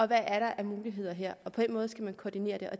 der er af muligheder her og på den måde skal man koordinere det